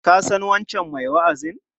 Ka san wancan mai wa'azin?